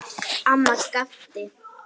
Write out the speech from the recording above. Amma gapti.